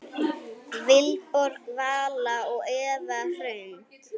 Vilborg Vala og Eva Hrund.